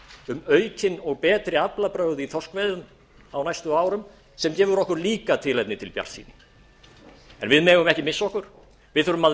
um aukin og betri aflabrögð í þorskveiðum á næstu árum sem gefur okkur líka tilefni til bjartsýni en við megum ekki missa okkur við þurfum að